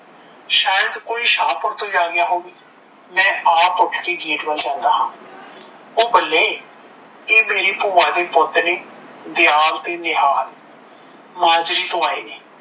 ਸ਼ਾਇਦ ਕੋਈ ਸ਼ਾਹਪੁਰ ਤੋਂ ਹੀ ਆ ਗਿਆ ਹੋਵੇ ਮੈ ਆਪ ਉਠ ਕੇ gate ਵੱਲ ਜਾਂਦਾ ਹਾਂ, ਓਹ ਬੱਲੇ ਏ ਮੇਰੀ ਭੂਆ ਦੇ ਪੁੱਤ ਨੇ ਦਿਆਲ ਤੇ ਨਿਹਾਲ ਮਾਜਰੀ ਤੋਂ ਆਏ ਨੇ,